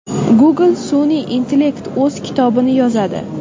Google sun’iy intellekti o‘z kitobini yozadi.